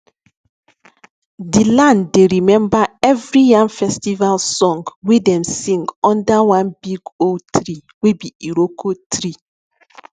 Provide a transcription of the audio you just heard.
the land dey remember every yam festival song wey dem sing under one big old tree wey be iroko tree